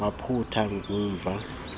waphathwa ngumva ndedwa